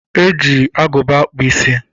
Eji agụba akpụ ísí.